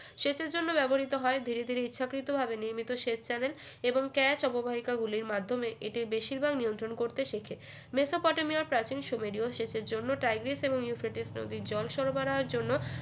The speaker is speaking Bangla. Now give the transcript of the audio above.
সেচের জন্য ব্যবহৃত হয় ধীরে ধীরে ইচ্ছাকৃতভাবে নির্মিত সেচ চারে এবং ক্যাশ অববাহিকা গুলির মাধ্যমে এদের বেশির ভাগ নিয়ন্ত্রণ করতে শেখে মেসোপটেমিয়ার প্রাচীন সুমেরীয় সেচের জন্য টাইগ্রিস এবং ইউফ্রেটিস নদীর জল সরবরাহের জন্য